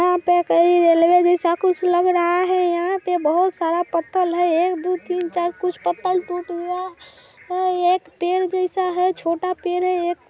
यहां पे कोई रेलवे जैसा कुछ लग रहा है यहां पर बहुत सारा पथल है एक दो तीन चार कुछ पथल टूटा गया है एक पेड़ जैसा है छोटा पेड़ है एक--